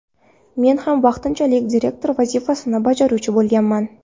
Men ham vaqtinchalik direktor vazifasini bajaruvchi bo‘lganman.